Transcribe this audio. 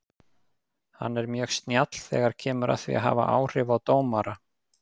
Hann er mjög snjall þegar kemur að því að hafa áhrif á dómara.